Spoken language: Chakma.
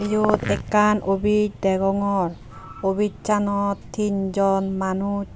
iyot ekkan office degongor office anot ton jon manuj.